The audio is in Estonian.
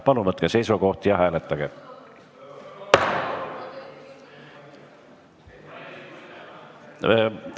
Palun võtke seisukoht ja hääletage!